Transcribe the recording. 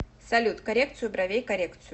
салют коррекцию бровей коррекцию